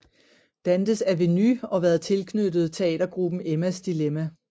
Dantes Aveny og været tilknyttet teatergruppen Emmas Dilemma